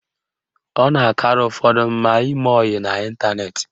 Ọ na-akara ụfọdụ mma ime oyi n'ịntaneti